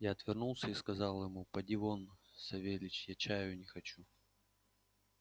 я отвернулся и сказал ему поди вон савельич я чаю не хочу